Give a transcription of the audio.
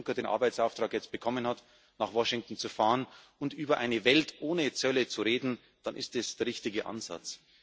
Wenn Jean Claude Juncker jetzt den Arbeitsauftrag bekommen hat, nach Washington zu fahren und über eine Welt ohne Zölle zu reden, dann ist das der richtige Ansatz.